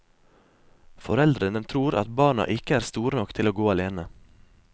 Foreldrene tror at barna ikke er store nok til å gå alene.